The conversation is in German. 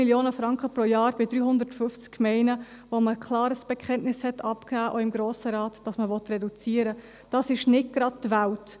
2 Mio. Franken pro Jahr bei 350 Gemeinden, wo man klar ein Bekenntnis abgegeben hat – auch im Grossen Rat –, dass man reduzieren will, ist nicht gerade die Welt.